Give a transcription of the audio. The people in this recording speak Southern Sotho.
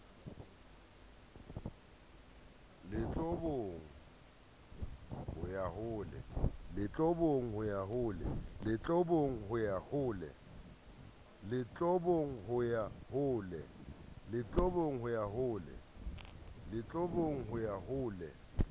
lotlobong ho ya ho le